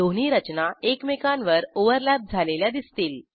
दोन्ही रचना एकमेकांवर ओव्हरलॅप झालेल्या दिसतील